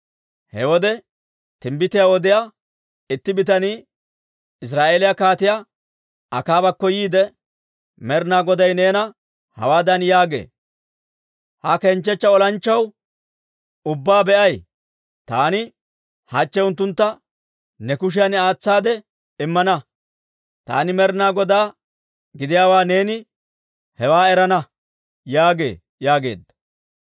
He wode timbbitiyaa odiyaa itti bitanii Israa'eeliyaa Kaatiyaa Akaabakko yiide, «Med'inaa Goday neena hawaadan yaagee; ‹Ha kenchchechcha olanchchatuwaa ubbaa be'ay? Taani hachche unttuntta ne kushiyan aatsaade immana; taani Med'inaa Godaa gidiyaawaa neeni hewan erana› yaagee» yaageedda.